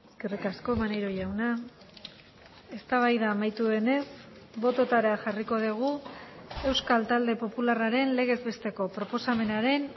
eskerrik asko maneiro jauna eztabaida amaitu denez bototara jarriko dugu euskal talde popularraren legez besteko proposamenaren